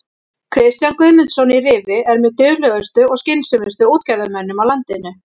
Kristján Guðmundsson í Rifi er með duglegustu og skynsömustu útgerðarmönnum á landinu.